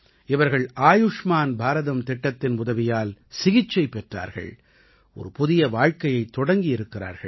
இவர்கள் ஆயுஷ்மான் பாரதம் திட்டத்தின் உதவியால் சிகிச்சை பெற்றார்கள் ஒரு புதிய வாழ்க்கையைத் தொடங்கியிருக்கிறார்கள்